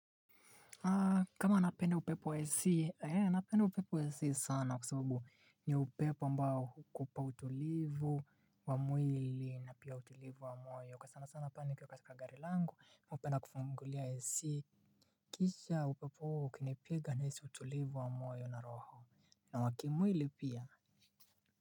Kama napende upepo wa AC, napende upepo wa AC sana kwa sababu ni upepo ambao ukupa utulivu wa mwili na pia utulivu wa moyo. Sana sana pale nikiwa katika gari langu, upenda kufungulia AC. Kisha upepo huo ukinipiga naisi utulivu wa moyo na roho. Na wa kimwili pia.